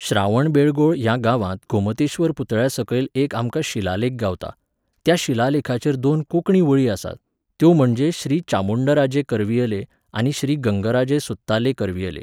श्रावणबेळगोळ ह्या गांवांत गोमतेश्वर पुतळ्या सकयल एक आमकां शिलालेख गावता. त्या शिलालेखाचेर दोन कोंकणी वळी आसात, त्यो म्हणजे श्री चामुंण्डराजे करवियले, आनी, श्री गंगराजे सुत्ताले करवियले